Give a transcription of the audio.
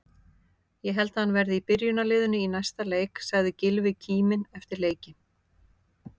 Ég held að hann verði í byrjunarliðinu í næsta leik, sagði Gylfi kíminn eftir leikinn.